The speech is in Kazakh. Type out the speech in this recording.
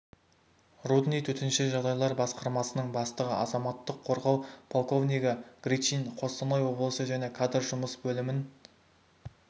рудный төтенше жағдайлар басқармасының бастығы азаматтық қорғау полковнигі гричин костанай облысы және кадр жұмыс бөлімінін